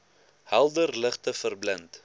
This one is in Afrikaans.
helder ligte verblind